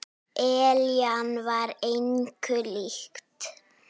Eljan var engu lík.